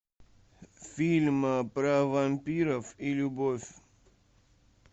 фильм про вампиров и любовь